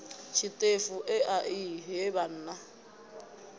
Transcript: tshiṱefu ea i he vhanna